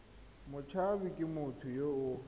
motshabi ke motho yo o